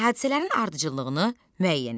Hadisələrin ardıcıllığını müəyyən et.